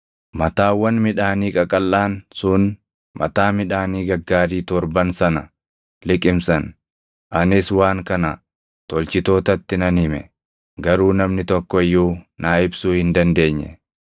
Mataawwan midhaanii qaqalʼaan sun mataa midhaanii gaggaarii torban sana liqimsan; anis waan kana tolchitootatti nan hime; garuu namni tokko iyyuu naa ibsuu hin dandeenye.”